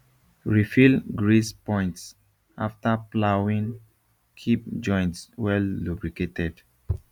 refill grease points after ploughing keep joints welllubricated